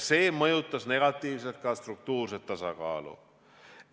See mõjutas negatiivselt ka struktuurset tasakaalu.